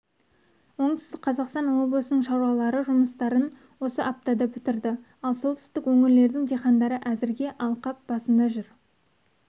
оңтүстік қазақстан облысының шаруалары жұмыстарын осы аптада бітірді ал солтүстік өңірлердің диқандары әзірге алқап басында жүр